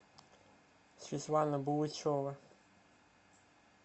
светлана булычева